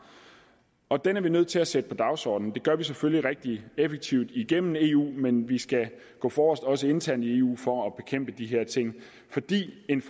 og den er vi nødt til at sætte på dagsordenen det gør vi selvfølgelig rigtig effektivt igennem eu men vi skal gå forrest også internt i eu for at bekæmpe de her ting fordi en